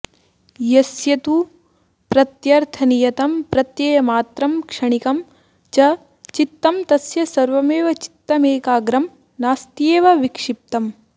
यस्य तु प्रत्यर्थनियतं प्रत्ययमात्रं क्षणिकं च चित्तं तस्य सर्वमेव चित्तमेकाग्रं नास्त्येव विक्षिप्तम्